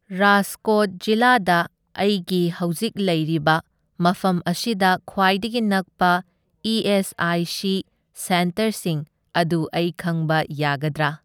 ꯔꯥꯖꯀꯣꯠ ꯖꯤꯂꯥꯗ ꯑꯩꯒꯤ ꯍꯧꯖꯤꯛ ꯂꯩꯔꯤꯕ ꯃꯐꯝ ꯑꯁꯤꯗ ꯈ꯭ꯋꯥꯏꯗꯒꯤ ꯅꯛꯄ ꯏ ꯑꯦꯁ ꯑꯥꯏ ꯁꯤ ꯁꯦꯟꯇꯔꯁꯤꯡ ꯑꯗꯨ ꯑꯩ ꯈꯪꯕ ꯌꯥꯒꯗ꯭ꯔꯥ?